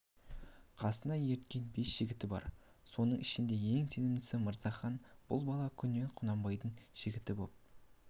қасына ерткен бес жігіті бар соның ішіндегі ең сенімдісі мырзахан бұл бала күннен құнанбайдың жігіті боп